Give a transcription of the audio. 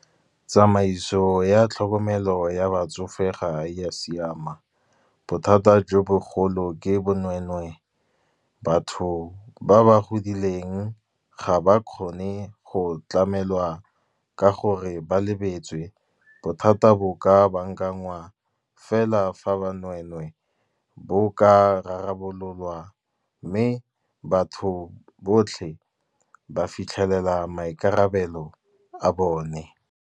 Tsamaiso ya tlhokomelo ya batsofe ga ya siama, bothata jo bogolo ke bonwenwee. Batho ba ba godileng ga ba kgone go tlamelwa ka gore ba lebetswe, bothata bo ka bankangwa. Fela fa banwenwee bo ka rarabololwa, mme batho botlhe ba fitlhelela maikarabelo a bone.